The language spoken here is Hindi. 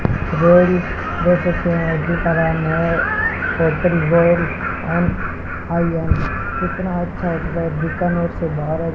कितना अच्छा बीकानेर से भारत।